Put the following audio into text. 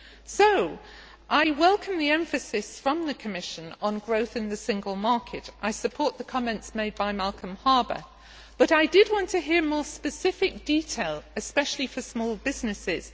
So I welcome the emphasis from the Commission on growth in the single market, and I support the comments made by Malcolm Harbour, but I did want to hear more specific detail, especially for small businesses.